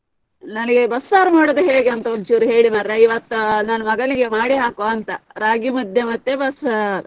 ನನಗೆ ಬಸ್ಸಾರು ಮಾಡುದು ಹೇಗೆ ಅಂತ ಒಂದ್ ಚೂರು ಹೇಳಿ ಮಾರೆ ಇವತ್ತು ನನ್ ಮಗನಿಗೆ ಮಾಡಿ ಹಾಕುವ ಅಂತ ರಾಗಿ ಮುದ್ದೆ ಮತ್ತೆ ಬಸ್ಸಾರ್.